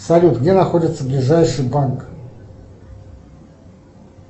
салют где находится ближайший банк